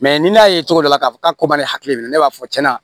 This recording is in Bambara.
Mɛ ni ne y'a ye cogo dɔ la k'a fɔ k'a ko bɛ ne hakili minɛ ne b'a fɔ cɛn na